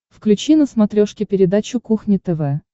включи на смотрешке передачу кухня тв